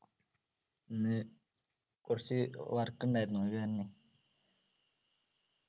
ഇന്ന് കുറച്ചു work ഉണ്ടായിരുന്നു അത് തന്നെ